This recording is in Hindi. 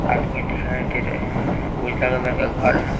आदमी दिखाई दे रहे हैं उजला कलर का घर है।